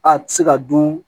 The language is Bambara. A tɛ se ka dun